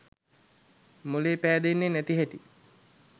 මොළේ පෑදෙන්නෙ නැති හැටි.